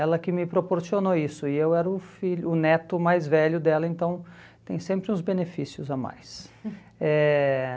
Ela que me proporcionou isso e eu era o filho o neto mais velho dela, então tem sempre os benefícios a mais. Eh